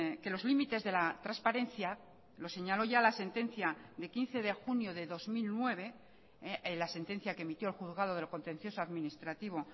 que los límites de la transparencia los señaló ya la sentencia de quince de junio de dos mil nueve la sentencia que emitió el juzgado de lo contencioso administrativo